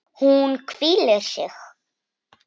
Hún hvílir sig.